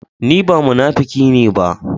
Ni ba munakifi ne ba.